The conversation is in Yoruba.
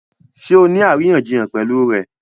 Ṣé ọ ní aríyànjiyàn pẹ̀lú rẹ̀?